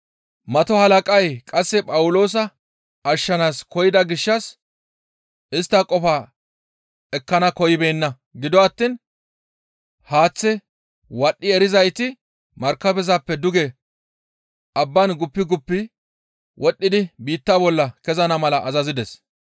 Mato halaqay qasse Phawuloosa ashshanaas koyida gishshas istta qofaa ekkana koyibeenna; gido attiin haaththe wadhdhi erizayti markabezappe duge abbaan guppi guppi wodhdhidi biitta bolla kezana mala azazides.